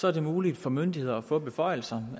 er det muligt for myndigheder at få beføjelser